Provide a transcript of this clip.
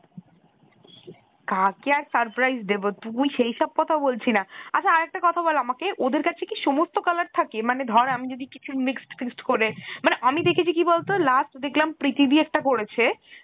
কাকে আর surprise দেব তুই সেই সব কথা বলছি না আচ্ছা আরেকটা কথা বল আমাকে ওদের কাছে কি সমস্ত color থাকে মানে ধরে আমি যদি কিছু mixed fixed করে মানে মাই দেখেছি কি বলতো last দেখলাম প্রীতি দি একটা করেছে ।